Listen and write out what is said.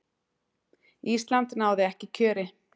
Ísland náði ekki kjöri.